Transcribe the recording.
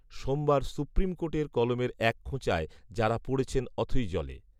সোমবার সুপ্রিম কোর্টের কলমের এক খোঁচায় যাঁরা পড়েছেন অথৈ জলে